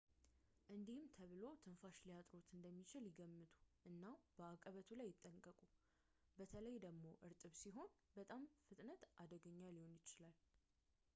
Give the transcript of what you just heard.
እንዲህም ተብሎ ትንፋሽ ሊያጥርዎት እንደሚችል ይገምቱ እና በአቀበቱ ላይ ይጠንቀቁ በተለይ ደግሞ እርጥብ ሲሆን በጣም በፍጥነት አደገኛ ሊሆን ስለሚችል